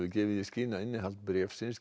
gefur í skyn að innihald bréfsins